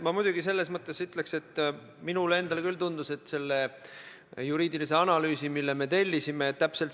Ma muidugi ütleks, et minule endale küll tundus, et selle juriidilise analüüsi, mille me tellisime, me ka saime.